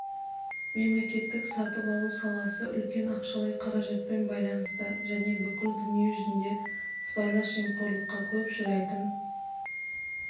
мемлекеттік сатып алу саласы үлкен ақшалай қаражатпен байланысты және бүкіл дүние жүзінде сыбайлас жемқорлыққа көп ұшырайтын